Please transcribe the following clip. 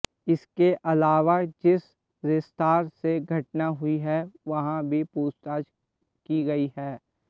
इसके अलावा जिस रेस्तरां में घटना हुई है वहां भी पूछताछ की गई है